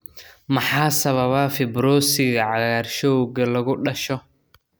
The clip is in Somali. Maxaa sababa fibrosiga cagaarshowga lagu dhasho?